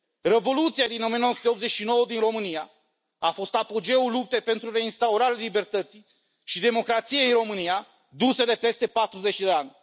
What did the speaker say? Revoluția din 1989 din România a fost apogeul luptei pentru reinstaurarea libertății și democrației în România, duse de peste 40 de ani.